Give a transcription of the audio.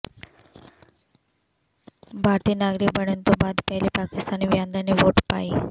ਭਾਰਤੀ ਨਾਗਰਿਕ ਬਣਨ ਤੋਂ ਬਾਅਦ ਪਹਿਲੀ ਪਾਕਿਸਤਾਨੀ ਵਿਹਾਂਦੜ ਨੇ ਵੋਟ ਪਾਈ